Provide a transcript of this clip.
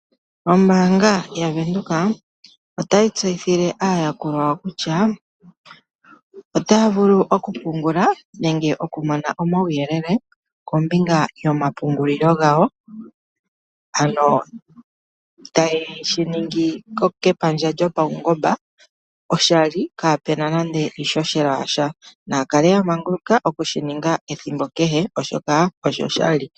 Ombaanga yavenduka, otayi tseyithile aayakulwa kutya otaavulu okupungula nenge okumona omawuyelele kombinga yoma pungulilo gawo, ano taye shiningi kepandja lyo pawungoba oshali kapena nande iishoshela yasha, naakale yamanguluka okushiniga ethimbo kehe oshoka osho shali.